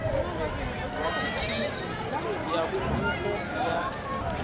wa thikhithi ya bufho ya